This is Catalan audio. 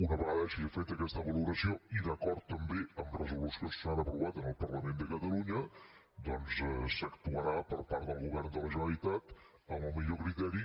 una vegada hagi fet aquesta valoració i d’acord també amb resolucions que s’han aprovat en el parlament de catalunya doncs s’actuarà per part del govern de la generalitat amb el millor criteri